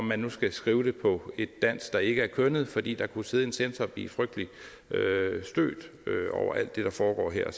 man nu skal skrive det på et dansk der ikke er kønnet fordi der kunne sidde en censor og blive frygtelig stødt over alt det der foregår her